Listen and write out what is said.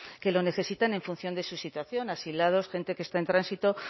que lo necesitan en función de su situación asilados gente que está en tránsito